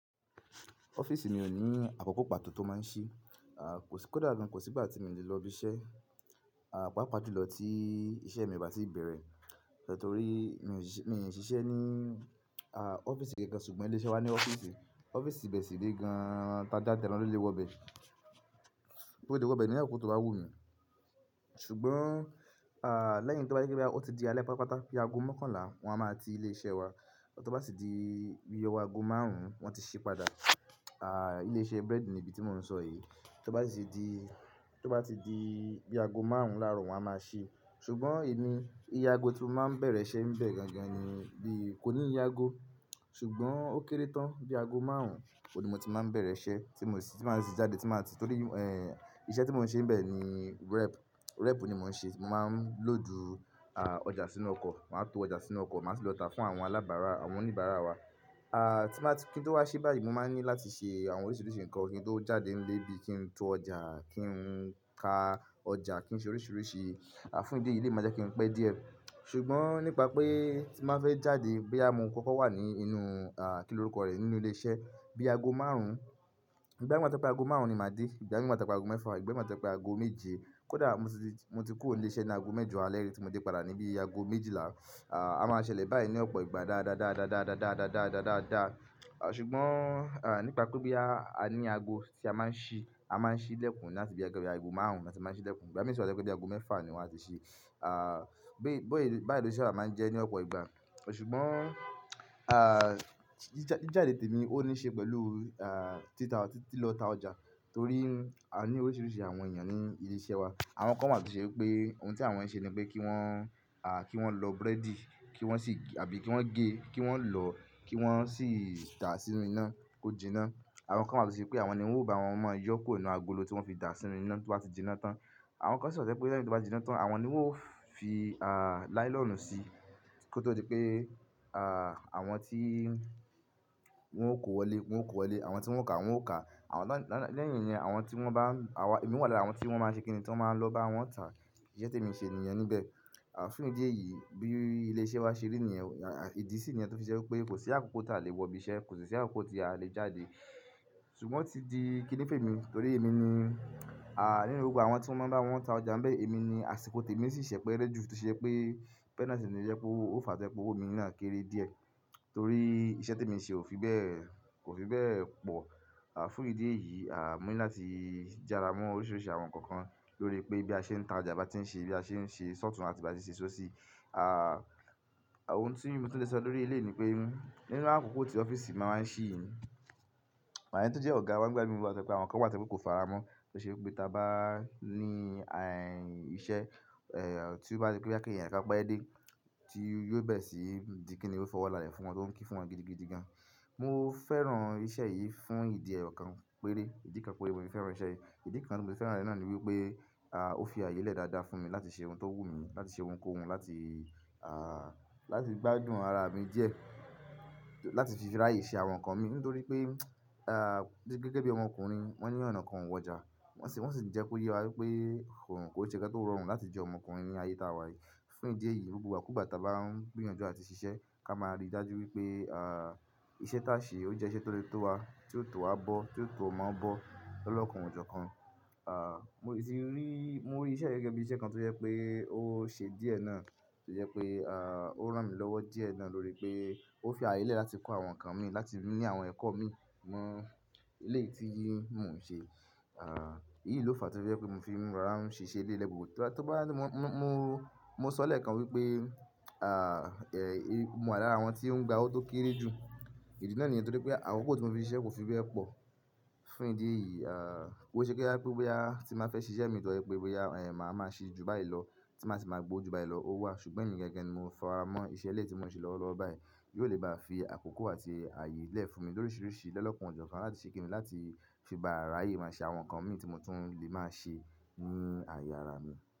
Ọ́fíìsì mi ò ní àkókò pàtó tó máa ń ṣí. À, kódà gan kò sí ìgbà tí mo lè lọ ibi iṣẹ́, à, pàápàá jùlọ tí iṣẹ́ mi bà tí bẹ̀rẹ̀. Nítorí mi, mi ò ṣiṣẹ́ ní, à, ọ́fíìsì kankan ṣùgbọ́n ilé iṣẹ́ wa ní ọ́fíìsì. Ọ́fíìsì bẹ́ẹ̀ sì re gan taja teran lọ lé wọ bẹ́ẹ̀. Modẹ̀ wọ bẹ̀ ní àkókò tó wá wù mí. Ṣùgbọ́n, à, lẹ́yìn tó bá jẹ́ pé ó ti di alẹ́ pátápátá bíi ago mọ́kànlá, wọn á máa ti ilé iṣẹ́ wa. Tó bá sì di bí i ọwọ́ ago márùn-ún, wọ́n ti ṣíi padà. À, ilé iṣẹ́ búrẹ́dì ní ibi tí mò ń sọ yìí. Tó bá sì ti di, tó bá ti di bí i ago márùn-ún láàrọ̀ wọn á máa ṣíi. Ṣùgbọ́n èmi, iye ago tí mo máa ń bẹ̀rẹ̀ iṣẹ́ ń bẹ̀ gangan ni bí i kò ní iye ago. Ṣùgbọ́n ó kéré tán bí i ago márùn-ún, òhun ni mo ti máa ń bẹ̀rẹ̀ iṣẹ́ tí mò si, tí màá sì ti jáde tí màá ti torí, ẹ́, iṣẹ́ tí mò ń ṣe níbẹ̀ ni brep. Brep ni mò ń ṣe. Mo máa ń lòduu, à, ọjà sínú ọkọ̀. Màá to ọjà sínú ọkọ̀, màá sì lọ tá fún àwọn alábàárà, àwọn oníbàárà wa. À, tí n bá tí kí n tó wá ṣe báyìí, mo máa ń ní láti ṣe àwọn oríṣìríṣìí nǹkan kí n tó jáde nílé bí i kí n to ọjà, kí n ka ọjà, kí n ṣe oríṣìríṣìí, à, fún ìdí èyí eléyìí máa ń jẹ́ kí n pẹ́ díẹ̀. Ṣùgbọ́n nípa pé tí n bá fẹ́ jáde bọ́yá mo kọ́kọ́ wà ní inú, à, kí ni orúkọ rẹ̀, nínú ilé iṣẹ́. Bí i ago márùn-ún, ìgbà mi wà tó jẹ́ pẹ́ ago márùn-ún ni màá dé. Ìgbà mi wà tó jẹ́ pẹ́ ago mẹ́fà, ìgbà mi wà tó jẹ́ pẹ́ ago méje. Kódà mo ti, mo ti kúrò ní ilé iṣẹ́ ní ago mẹ́jọ alẹ́ rí tí mo dé padà ní bí i ago méjìlá. À, a máa ṣẹlẹ̀ báyìí ní ọ̀pọ̀ ìgbà. Dáadáa, dáadáa, dáadáa, dáadáa, dáadáa, dáadáa. À, ṣùgbọ́n, à, nípa pé bí a ní ago tí a máa ń ṣí, a máa ń ṣí lẹ́kùn láti bí i ago márùn-ún láti máa ń ṣí lẹ́kùn. Ìgbà mìíràn sì máa tẹpẹ́ pé ago mẹ́fà ni wọn á ti ṣí. À, bí i, bó ẹ́ l, bá ẹ́ l, ṣí máa ń jẹ́ ní ọ̀pọ̀ ìgbà. Ṣùgbọ́n, à, jíjáde tèmi ó ní ṣe pẹ̀lú, à, títa, tí lọ ta ọjà torí a ní oríṣiríṣi àwọn èèyàn ní ilé iṣẹ́ wa. Àwọn kan máa sì ṣe pé ohun tí àwọn ń ṣe ni pé kí wọ́n, à, kí wọ́n lọ búrẹ́dì kí wọ́n sì gbé àbí kí wọ́n gé, kí wọ́n lọ, kí wọ́n sì dà á sínú iná kó jinná. Àwọn kan máa sì ṣe pé àwọn ni wọn ó bá àwọn ọmọ yọ kó inú agolo tí wọ́n fi dà á sínú iná tó bá ti jinná tán. Àwọn kan sì sọ pé lẹ́yìn tó bá jinná tán, àwọn ni wọn ó fi, à, láílọ̀nù sí kó tó di pé, à, àwọn tí wọn ó kó wọlé, wọn ó kó wọlé. Àwọn tí wọn ó ka, wọn ó ka. Àwọn lọ́, lọ́, lẹ́yìn yẹn àwọn tí wọn bá, àwọn, èmi wà lára àwọn tí wọ́n máa ṣe kíni tí wọ́n máa lọ bá wọn tà. Iṣẹ́ tí èmi ṣe ni ìyẹn níbẹ̀. À, fún ìdí èyí bí i ilé iṣẹ́ wa ṣe rí niyẹn, ìdí sì ni ẹ́ tó fi ṣe pé kò sí àkókò tí a lè wọ ibi iṣẹ́, kò sì sí àkókò tí a lè jáde. Ṣùgbọ́n o tí di kíni fẹ́ mi torí èmi ni, à, nínú gbogbo àwọn tí wọ́n máa ń bá wọn ta ọjà níbẹ̀, èmi ni àsìkò tèmi sì ṣẹ̀ pẹ́re jù tó ṣe pé pẹnátì ni ó jẹ́ kó fà á tẹ́ ẹ́ pé owó mi náà kéré díẹ̀ torí iṣẹ́ tí èmi ṣe ò fi bẹ́ẹ̀, kò fi bẹ́ẹ̀ pọ̀. À, fún ìdí èyí, à, mo ní láti jara mọ́ oríṣiríṣi àwọn nǹkan kan lórí pé bí a ṣe ń ta ọjà bá ti ń ṣe, bí a ṣe ń ṣe sọ́tùùn àti bá ti ń ṣe sóṣì. À, ohun tí mo lè sọ lórí ilẹ̀ ni pé nínú àkókò tí ọ́fíìsì máa ń ṣí, ẹni tí ó jẹ́ ọ̀gá wa n gbá mi wa, tọ je pé àwọn kan wà tẹ́ẹ̀ pé kò fara mọ́ tó ṣe pé tí a bá ní, à, iṣẹ́, eh, tí ó bá ti pé kí ènìyàn kan pẹ́ dé tí yóò bẹ̀ sì di kíni ó fọwọ́ ládùn fún wọn tó ń kí fún wọn gidigidi gan. Mo fẹ́ràn iṣẹ́ yìí fún ìdí ẹ̀rọ kan péré. Ìdí kan péré mò fí fẹ́ràn iṣẹ́ yìí. Ìdí kan ti mo fi fẹ́ràn rẹ̀ náà ni wípé, à, ó fi àyè lẹ̀ dáadáa fún mi láti ṣe ohun tó wú mi, láti ṣe ohun kó hun, láti, à, láti gbádùn ara mi díẹ̀, láti fi raàyè ṣe àwọn nǹkan mi. Nítorí pé, à, gẹ́gẹ́ bí ọmọkùnrin wọ́n ní ọ̀nà kan wọn ọjà, wọ́n sì, wọ́n sì jẹ́ kó yé wa wípé kò ṣẹ́ ǹkan tó rọrùn láti jẹ ọmọkùnrin ní ayé ta wà yìí. Fún ìdí èyí gbogbo ìgbà kú gbà táa bá ń gbìyànjú àti ṣiṣẹ́ ká máa rí dájú wípé, à, iṣẹ́ tá a ṣe ó jẹ́ iṣẹ́ tó lè tó wa, tí yóò tò wá bọ́, tí yóò tò omọ́ bọ́ lọ́kàn ọ̀jọ̀ọ̀kan. À, mo sì rí, mo rí iṣẹ́ yìí gẹ́gẹ́ bí iṣẹ́ kan tó jẹ́ pé ó ṣe díẹ̀ náà tí jẹ́ pé, à, ó rán mi lọ́wọ́ díẹ̀ náà lórí pé ó fi àyè lẹ̀ láti kó àwọn nǹkan mi, láti ní àwọn ẹ̀kọ́ mi mọ elé tí mo ń ṣe. À, èyí ló fà á tí ó jẹ́ pé mo fi rárá ń ṣèṣe ilé lẹ́gbọ̀ọ́. Tó bá, tó bá, mo, mo, mo sọlẹ́ kan wípé, à, eh, mo wà lára àwọn tí ń gba owó tó kéré jù. Ìdí náà nìyẹn torí pé àkókò tí mo fi ṣe ẹ́ kò fi bẹ́ẹ̀ pọ̀. Fún ìdí èyí, à, bó ṣe kí á pé bóyá tí màá fẹ́ ṣiṣẹ́ mi tó ẹni pé bóyá, eh, màá máa ṣí ju báyìí lọ tí màá sì máa gbo ju báyìí lọ, ó wà. Ṣùgbọ́n èmi gangan ni mo faramọ́ iṣẹ́ ilé tí mò ń ṣe lọ́wọ́ lọ́wọ́ báyìí yóò lè bá fi àkókò àti àyè lẹ̀ fún mi lóríṣiríṣi lọ́lokan o jankan láti fi ba r'aye máa se àwọn nǹkan imi ti mo le máa se l'aye ara mi.